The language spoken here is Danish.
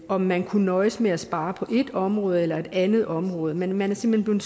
om man kunne nøjes med at spare på et område eller et andet område man er simpelt hen